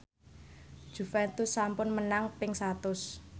Juventus sampun menang ping satus